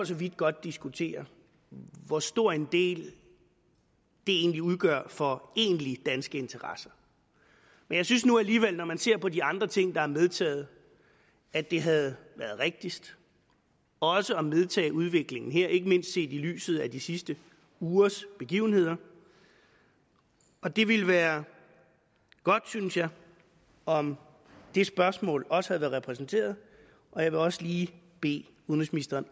så vidt godt diskutere hvor stor en del det egentlig udgør for egentlige danske interesser men jeg synes nu alligevel når man ser på de andre ting der er medtaget at det havde været rigtigst også at medtage udviklingen her ikke mindst set i lyset af de sidste ugers begivenheder og det ville være godt synes jeg om det spørgsmål også havde været repræsenteret og jeg vil også lige bede udenrigsministeren